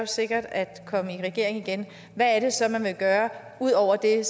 sikkert er at komme i regering igen hvad er det så man vil gøre ud over det